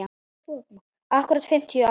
Akkúrat fimmtíu ár.